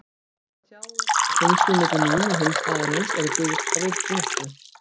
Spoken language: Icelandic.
Það tjáir að tengslin milli mín og hins aðilans eru byggð á vináttu.